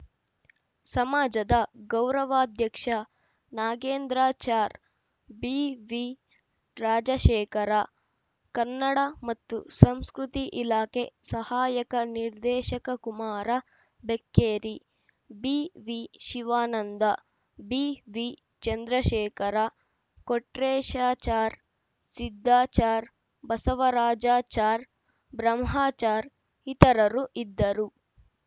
ಸಮಾಜದ ಗೌರವಾಧ್ಯಕ್ಷ ನಾಗೇಂದ್ರಾಚಾರ್‌ ಬಿವಿರಾಜಶೇಖರ ಕನ್ನಡ ಮತ್ತು ಸಂಸ್ಕೃತಿ ಇಲಾಖೆ ಸಹಾಯಕ ನಿರ್ದೇಶಕ ಕುಮಾರ ಬೆಕ್ಕೇರಿ ಬಿವಿಶಿವಾನಂದ ಬಿವಿರಾಜಶೇಖರ ಕೊಟ್ರೇಶಾಚಾರ್‌ ಸಿದ್ದಾಚಾರ್‌ ಬಸವರಾಜಾಚಾರ್‌ ಬ್ರಹ್ಮಾಚಾರ್‌ ಇತರರು ಇದ್ದರು